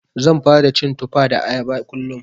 Zan fara cin Tufa da Ayaba kullum.